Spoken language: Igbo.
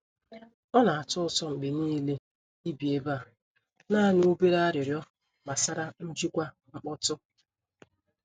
Ọ na-atọ ụtọ mgbe niile ibi ebe a; naanị obere arịrịọ gbasara njikwa mkpọtụ.